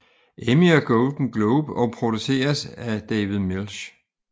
Emmy og Golden Globe og produceres af David Milch